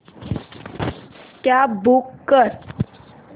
cab book कर